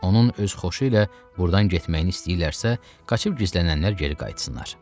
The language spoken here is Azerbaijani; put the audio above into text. Onun öz xoşu ilə burdan getməyini istəyirlərsə, qaçıb gizlənənlər geri qayıtsınlar.